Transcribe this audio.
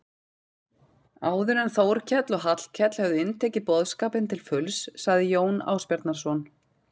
Áður en Þórkell og Hallkell höfðu inntekið boðskapinn til fulls sagði Jón Ásbjarnarson